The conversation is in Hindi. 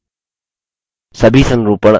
सभी संरूपण formatting options जैसे